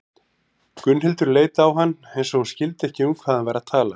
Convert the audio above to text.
Gunnhildur leit á hann eins og hún skildi ekki um hvað hann væri að tala.